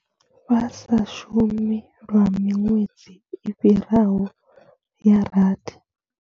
Vha sa shumi lwa miṅwedzi i fhiraho ya rathi.